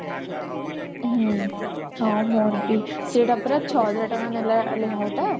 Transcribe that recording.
ହୁଁ ହଁ ମୋର ବି ସେଇଟା ପରା ଛହଜାର ଟଙ୍କା ନେଲା ଲେହେଙ୍ଗା ଟା